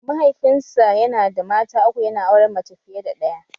Mahaifinsa yana da mata uku yana auren mace fiye da ɗaya